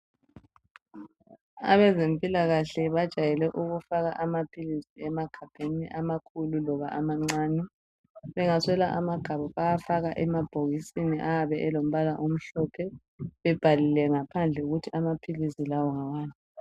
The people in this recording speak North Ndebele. Abezempilakahle abajayele ukufaka amaphilisi emagabheni amakhulu loba amancane bengaswela amagabha bayafaka emabhokisini ayabe elombala omhlophe bebhalile ngaphandle ukuthi amaphilisi lawa ngawani.